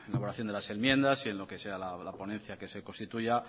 elaboración de las enmiendas y en lo que sea la ponencia que se constituya